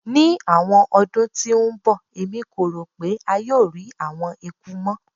Ni awọn ọdun ti n bọ Emi ko ro pe a yoo rii awọn eku mọ